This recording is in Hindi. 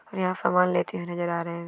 यहा समान लेते हुए नजर आ रहे--